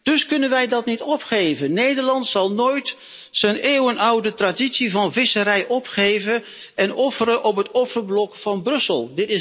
Wij kunnen dat dus niet opgeven! Nederland zal nooit zijn eeuwenoude traditie van visserij opgeven en offeren op het offerblok van Brussel.